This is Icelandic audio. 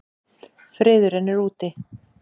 Friðurinn er úti.